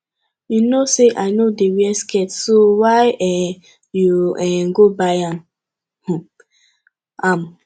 you know say i no dey wear skirt so why um you um you go buy um am